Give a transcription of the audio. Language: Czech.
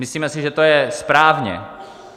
Myslíme si, že to je správně.